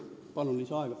Palun lisaaega!